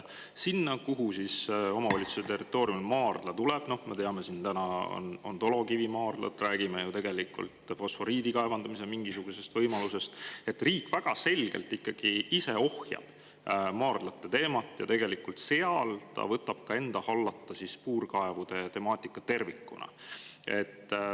Selle puhul, kuhu omavalitsuse territooriumil maardla tuleb – me teame, et on dolokivimaardlad, aga räägime ka fosforiidi kaevandamise võimalusest –, riik väga selgelt ikkagi ise ohjab maardlate teemat ja tegelikult võtab enda hallata puurkaevude temaatika tervikuna.